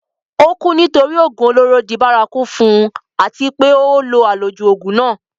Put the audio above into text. ó kú nítorí ògùn olóró di bárakú fún un àti pé ó lo àlòjù ògùn náà